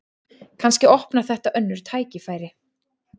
Kannski opnar þetta önnur tækifæri